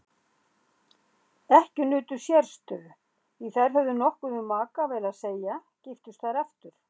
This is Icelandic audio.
Ekkjur nutu sérstöðu því þær höfðu nokkuð um makaval að segja giftust þær aftur.